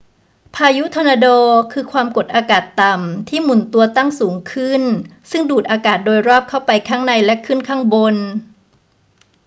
พายุทอร์นาโด คือความกดอากาศต่ำที่หมุนตัวตั้งสูงขึ้นซึ่งดูดอากาศโดยรอบเข้าไปข้างในและขึ้นข้างบน